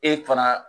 E fana